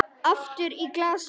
Aftur í glasið.